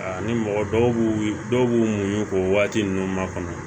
Ani mɔgɔ dɔw b'u dɔw b'u muɲu k'o waati nunnu makɔnɔ